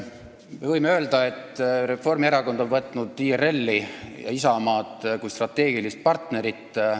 Me võime öelda, et Reformierakond on võtnud IRL-i ja Isamaad kui strateegilist partnerit.